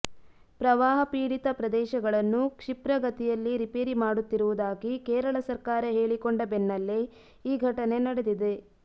ಪ್ರವಾಹಪೀಡಿತ ಪ್ರದೇಶಗಳನ್ನು ಕ್ಷಿಪ್ರಗತಿಯಲ್ಲಿ ರಿಪೇರಿ ಮಾಡುತ್ತಿರುವುದಾಗಿ ಕೇರಳ ಸರ್ಕಾರ ಹೇಳಿಕೊಂಡ ಬೆನ್ನಲ್ಲೇ ಈ ಘಟನೆ ನಡೆದಿದೆ